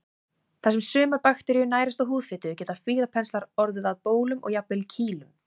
Þar sem sumar bakteríur nærast á húðfitu geta fílapenslar orðið að bólum og jafnvel kýlum.